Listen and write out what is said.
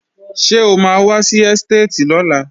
Ṣé o máa wá sí ẹ́stéètì lọ́la?